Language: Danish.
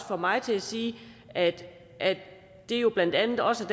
får mig til at sige at at det jo blandt andet også